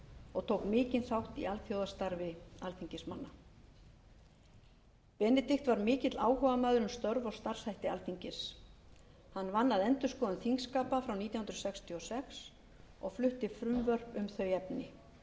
og tók mikinn þátt í alþjóðastarfi alþingismanna benedikt var mikill áhugamaður um störf og starfshætti alþingis hann vann að endurskoðun þingskapa frá nítján hundruð sextíu og sex og flutti frumvörp um þau efni